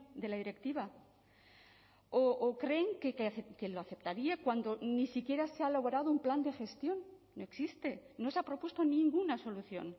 de la directiva o creen que lo aceptaría cuando ni siquiera se ha elaborado un plan de gestión no existe no se ha propuesto ninguna solución